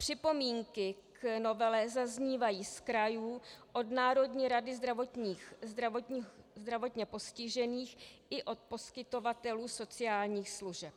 Připomínky k novele zaznívají z krajů, od Národní rady zdravotně postižených i od poskytovatelů sociálních služeb.